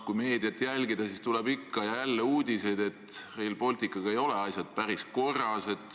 Kui meediat jälgida, siis tuleb ikka ja jälle uudiseid, et Rail Balticuga ei ole asjad päris korras.